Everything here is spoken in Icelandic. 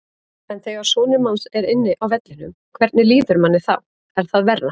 En þegar sonur manns er inni á vellinum, hvernig líður manni þá, er það verra?